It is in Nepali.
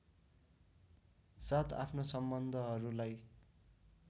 साथ आफ्नो सम्बन्धहरूलाई